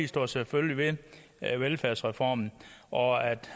står selvfølgelig ved velfærdsreformen og